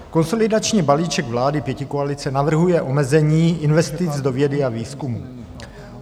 Konsolidační balíček vlády pětikoalice navrhuje omezení investic do vědy a výzkumu.